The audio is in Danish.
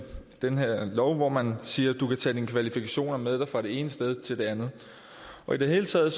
den her lov hvor man siger du kan tage dine kvalifikationer med dig fra det ene sted til det andet i det hele taget